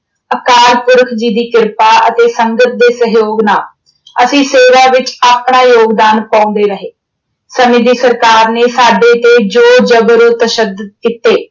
ਅਕਾਲ ਪੁਰਖ ਜੀ ਦੀ ਕ੍ਰਿਪਾ ਅਤੇ ਸੰਗਤ ਦੇ ਸਹਿਯੋਗ ਨਾਲ ਅਸੀਂ ਸੇਵਾ ਵਿੱਚ ਆਪਣਾ ਯੋਗਦਾਨ ਪਾਉਂਦੇ ਰਹੇ। ਸਮੇਂ ਦੀ ਸਰਕਾਰ ਨੇ ਸਾਡੇ ਤੇ ਜ਼ੋਰ ਜ਼ਬਰ ਤਸ਼ੱਦਤ ਕੀਤੇ।